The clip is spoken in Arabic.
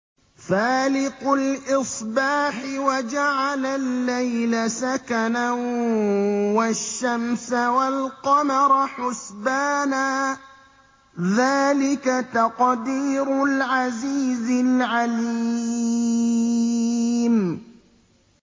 فَالِقُ الْإِصْبَاحِ وَجَعَلَ اللَّيْلَ سَكَنًا وَالشَّمْسَ وَالْقَمَرَ حُسْبَانًا ۚ ذَٰلِكَ تَقْدِيرُ الْعَزِيزِ الْعَلِيمِ